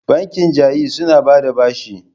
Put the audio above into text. Bankin Ja'iz suna ba da bashi.